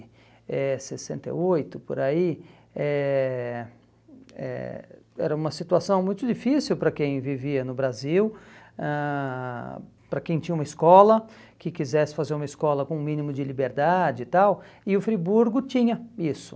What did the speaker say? eh sessenta e oito, por aí, eh eh era uma situação muito difícil para quem vivia no Brasil ãh, para quem tinha uma escola, que quisesse fazer uma escola com um mínimo de liberdade e tal, e o Friburgo tinha isso.